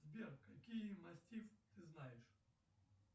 сбер какие мастифы ты знаешь